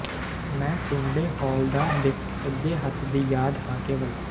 ਮੈਂ ਟੁੰਡੇ ਹੌਲਦਾਰ ਦੇ ਸੱਜੇ ਹੱਥ ਦੀ ਯਾਦ ਹਾਂ ਕੇਵਲ